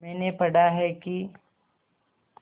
मैंने पढ़ा है कि